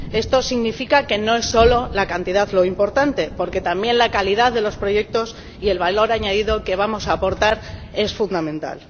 Esto significa que no es solo la cantidad lo importante, porque también la calidad de los proyectos y el valor añadido que vamos a aportar es fundamental.